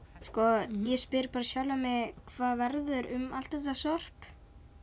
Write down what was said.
sko ég spyr bara sjálfan mig hvað verður um allt þetta sorp